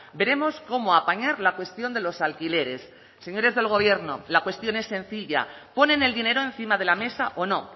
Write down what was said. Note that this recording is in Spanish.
veremos cómo apañar la cuestión de los alquileres señores del gobierno la cuestión es sencilla ponen el dinero encima de la mesa o no